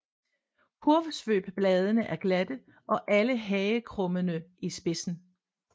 Kurvsvøbbladene er glatte og alle hagekrummede i spidsen